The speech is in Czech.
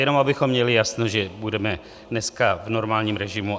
Jenom abychom měli jasno, že budeme dneska v normálním režimu.